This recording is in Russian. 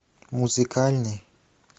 музыкальный